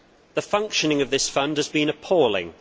The functioning of this fund has been appalling.